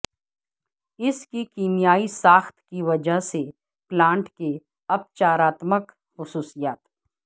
اس کی کیمیائی ساخت کی وجہ سے پلانٹ کے اپچاراتمک خصوصیات